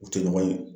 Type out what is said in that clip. U tɛ ɲɔgɔn ye